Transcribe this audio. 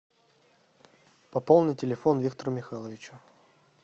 пополни телефон виктору михайловичу